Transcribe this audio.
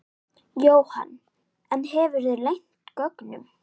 Jóhann: En hefurðu leynt gögnum?